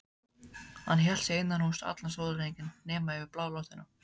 Hann hélt sig innan húss allan sólarhringinn nema yfir blánóttina.